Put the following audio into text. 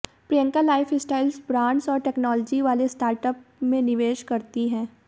Priyanka lifestyle brands और technology वाले startup में निवेश करती हैं